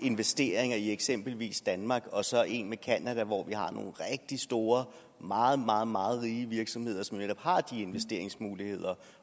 investeringer i eksempelvis danmark og så en aftale med canada hvor vi har nogle rigtig store meget meget meget rige virksomheder som netop har de investeringsmuligheder